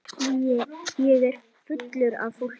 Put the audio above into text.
Ég er fullur af fólki.